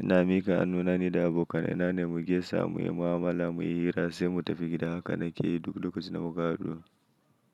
ina mika hanuna ni da abokanai na ne mu gesa mu yi mu'amala muyi hira sai mu tafi gida. Haka na ke yi duk lokacin da muka haɗu.